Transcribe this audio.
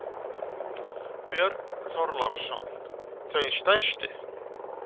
Björn Þorláksson: Þau stærstu?